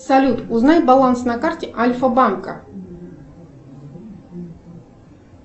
салют узнай баланс на карте альфа банка